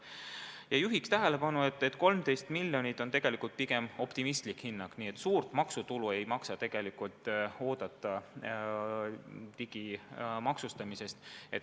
Ma juhin ka tähelepanu, et 13 miljonit on pigem liiga optimistlik hinnang, nii suurt maksutulu digimaksustamisest tegelikult oodata ei maksa.